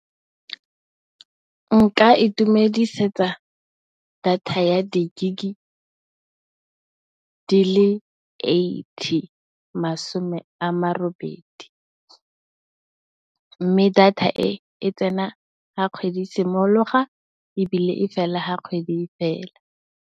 Nka itumelela data ya di gigabytes di le eighty, masomerobedi. Mme, data e e tsena ga kgwedi e simologa ebile, e fela ga kgwedi e fela.